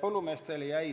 Põllumeestele jäi